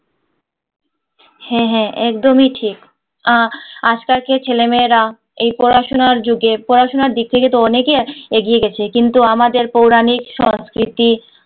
হ্যাঁ হ্যাঁ একদমই ঠিক আজকাল কে ছেলেমেয়েরা এই পড়াশুনার যুগের পড়াশোনার দিক থেকে তো অনেকেই এগিয়ে গেছে কিন্তু আমাদের পৌরানিক সংস্কৃতি